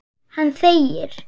Hann þegir.